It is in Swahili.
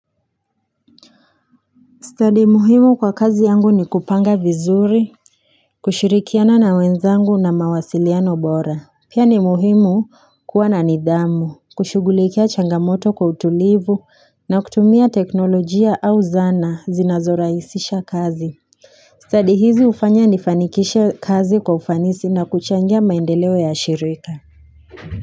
Stadi muhimu kwa kazi yangu ni kupanga vizuri, kushirikiana na wenzangu na mawasiliano bora. Pia ni muhimu kuwa na nidhamu, kushugulikia changamoto kwa utulivu na kutumia teknolojia au zana zinazorahisisha kazi. Stadi hizi hufanya nifanikishe kazi kwa ufanisi na kuchangia maendeleo ya shirika.